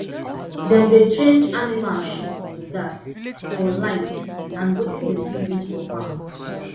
dem dey change animal shit to gas for light and wetin dem fit use for farm